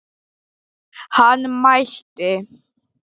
Hann mælti.